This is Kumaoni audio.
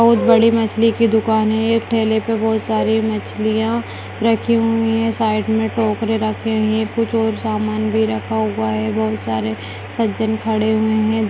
बहोत बड़ी मछली की दुकान है एक ठेले पर बहोत सारी मछलियां रखी हुई हैं साइड में टोक रे रखे हुए हैं कुछ और सामान भी रखा हुआ है बहोत सारे सज्जन खड़े हुए हैं।